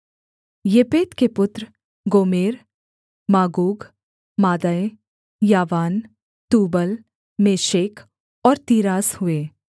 येपेत के पुत्र Gomer Magog Madai यावान तूबल मेशेक और तीरास हुए